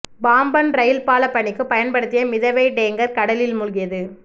Pamban rail பால பணிக்கு பயன்படுத்திய மிதவை டேங்கா் கடலில் மூழ்கியது